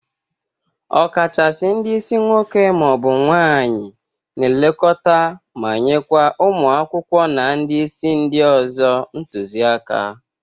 Ọkachasi ndị isi nwoke ma ọ bụ nwaanyị na-elekọta ma nyekwa ụmụ akwụkwọ na ndị isi ndị ọzọ ntụzị aka.